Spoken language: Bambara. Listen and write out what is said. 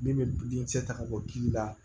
Min bɛ den kisɛ ta ka bɔ kiiri la